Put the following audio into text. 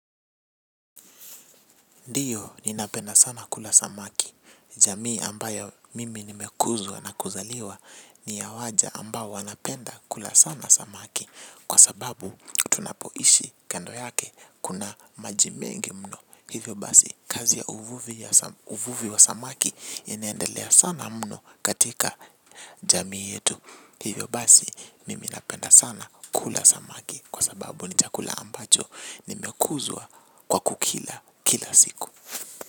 Ndiyo ninapenda sana kula samaki. Jamii ambayo mimi nimekuzwa na kuzaliwa ni ya waja ambao wanapenda kula sana samaki kwa sababu tunapoishi kando yake kuna majimengi mno. Hivyo basi kazi ya uvuvi wa samaki inaendelea sana mno katika jamii yetu. Hivyo basi mimi napenda sana kula samaki. Kwa sababu ni chakula ambacho nimekuzwa kwa kukila kila siku.